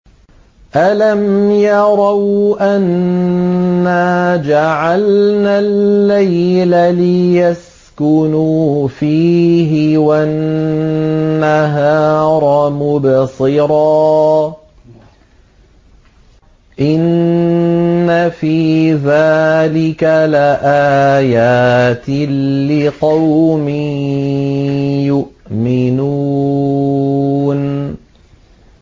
أَلَمْ يَرَوْا أَنَّا جَعَلْنَا اللَّيْلَ لِيَسْكُنُوا فِيهِ وَالنَّهَارَ مُبْصِرًا ۚ إِنَّ فِي ذَٰلِكَ لَآيَاتٍ لِّقَوْمٍ يُؤْمِنُونَ